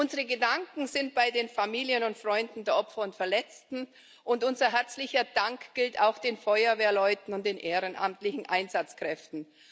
Unsere Gedanken sind bei den Familien und Freunden der Opfer und Verletzten, und unser herzlicher Dank gilt auch den Feuerwehrleuten und den ehrenamtlichen Einsatzkräften.